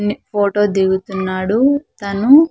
Photo దిగుతున్నాడు తను.